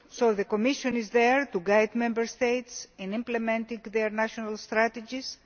The Commission is there to guide Member States in implementing their national strategies.